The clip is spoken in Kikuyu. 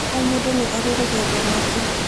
O mũndũ nĩ arĩ rũgendo rwake